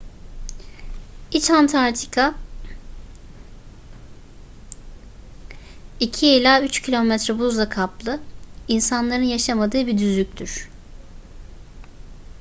i̇ç antarktika 2-3 km buzla kaplı insanların yaşamadığı bir düzlüktür